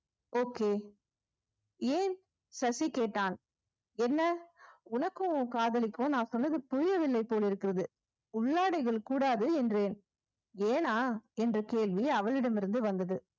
okay ஏன் சசி கேட்டான் என்ன உனக்கும் உன் காதலிக்கும் நான் சொன்னது புரியவில்லை போலிருக்கிறது உள்ளாடைகள் கூடாது என்றேன் ஏன்னா என்ற கேள்வி அவளிடம் இருந்து வந்தது